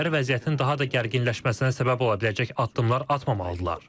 Tərəflər vəziyyətin daha da gərginləşməsinə səbəb ola biləcək addımlar atmamalıdırlar.